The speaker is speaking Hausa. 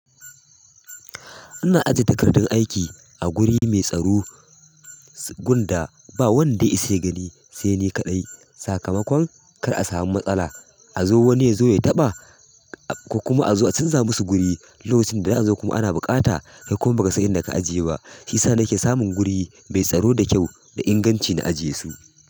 Ina ajiye takardun aiki a guri mai tsaro, gunda ba wanda ya isa ya gani, sai ni kaɗai. Sakamakon kar a samu matsala, a zo wani ya zo ya taɓa, ko kuma a zo a canza musu guri, lokacin da za'a zo kuma ana buƙata, kai kuma ba ka san inda ka ajiye ba. Shiyasa nake samun guri mai tsaro da kyau da inganci na ajiye su.